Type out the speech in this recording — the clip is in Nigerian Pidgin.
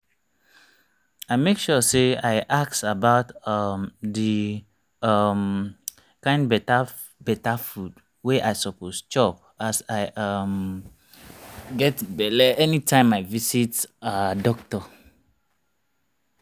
i make sure say i ask about um the um kind better better food wey i suppose chop as i um get belle anytime i visit ah doctor